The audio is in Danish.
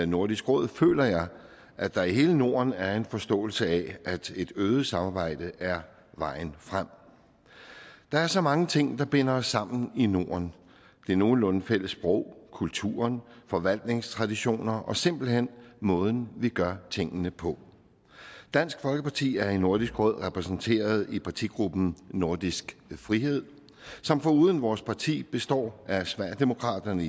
nordisk råd føler jeg at der i hele norden er en forståelse af at et et øget samarbejde er vejen frem der er så mange ting der binder os sammen i norden det nogenlunde fælles sprog kulturen forvaltningstraditioner og simpelt hen måden vi gør tingene på dansk folkeparti er i nordisk råd repræsenteret i partigruppen nordisk frihed som foruden vores parti består af sverigedemokraterne